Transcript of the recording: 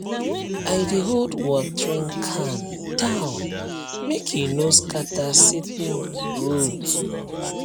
i dey hold watering can down make e no scatter seedling root